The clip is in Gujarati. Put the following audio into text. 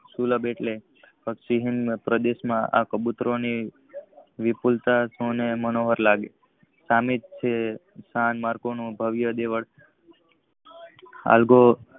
સુલભ એટલે પક્ષી ના પ્રદેશ માં આ કબૂતર ની વિપુલ તા મનોવર લાગે છે સ્તન માર્ગ ભવિયા દિવસ